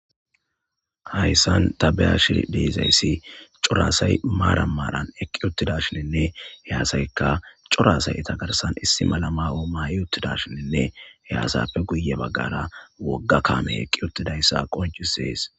Hayssan tabeyash deezayssi coraasay maara maaran eqqi uttida shininne heyasaykka corasay etagarsan issi malama o maayi uttida shininne heyasappe guye baggara wogga kaame eqqi uttidayssa qoncisees.